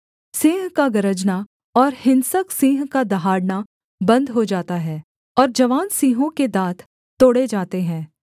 सिंह का गरजना और हिंसक सिंह का दहाड़ना बन्द हो जाता है और जवान सिंहों के दाँत तोड़े जाते हैं